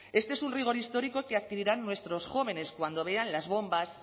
este es un rigor histórico que adquirirán nuestros jóvenes cuando vean las bombas